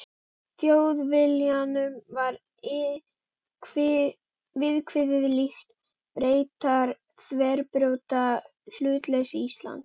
Í Þjóðviljanum var viðkvæðið líkt: Bretar þverbrjóta hlutleysi Íslands.